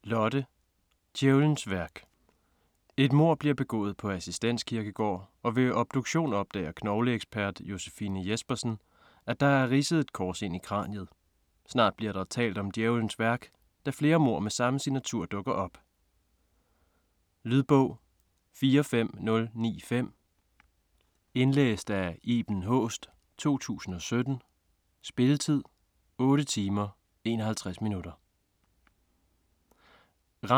Petri, Lotte: Djævelens værk Et mord bliver begået på Assistens Kirkegård og ved obduktionen opdager knogleekspert Josefine Jespersen, at der er ridset et kors ind i kraniet. Snart bliver der talt om Djævelens værk, da flere mord med samme signatur dukker op. Lydbog 45095 Indlæst af Iben Haaest, 2017. Spilletid: 8 timer, 51 minutter.